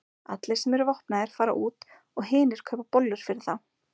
Allir sem eru vopnaðir fara út og hinir kaupa bollur fyrir þá.